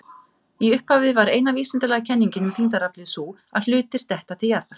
Í upphafi var eina vísindalega kenningin um þyngdaraflið sú að hlutir detta til jarðar.